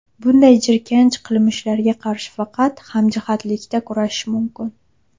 Bunday jirkanch qilmishlarga qarshi faqat hamjihatlikda kurashish mumkin.